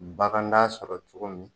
Bagant'a sɔrɔ togo min